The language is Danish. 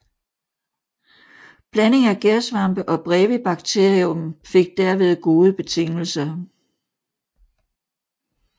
Blanding af gærsvampe og Brevibacterium fik derved gode betingelser